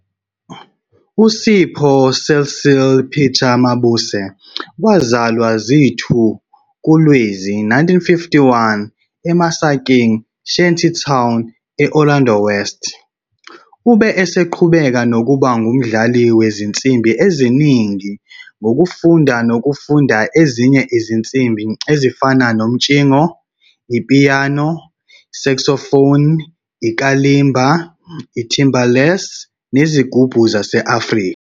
USipho Cecil Peter Mabuse wazalwa zi-2 kuLwezi 1951 eMasakeng, Shantytown, e-Orlando West. Ube eseqhubeka nokuba ngumdlali wezinsimbi eziningi ngokufunda nokufunda ezinye izinsimbi ezifana nomtshingo, upiyano, i-saxophone, i-kalimba, i-timbales nezigubhu zase-Afrika.